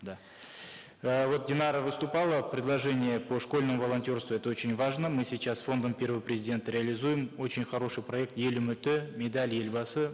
да э вот динара выступала предложение по школьному волонтерству это очень важно мы сейчас с фондом первого президента организуем очень хороший проект ел үміті медаль елбасы